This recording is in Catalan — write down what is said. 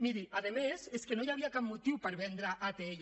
miri a més és que no hi havia cap motiu per vendre atll